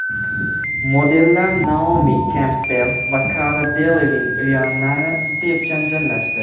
Modellar Naomi Kempbell va Kara Delevin Riannani deb janjallashdi.